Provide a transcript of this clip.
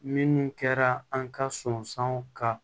Minnu kɛra an ka sɔn ka